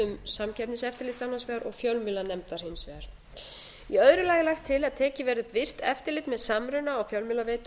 höndum samkeppniseftirlits annars vegar og fjölmiðlanefndar hins vegar í öðru lagi er lagt til að tekið verði upp virkt eftirlit með samruna á fjölmiðlaveitum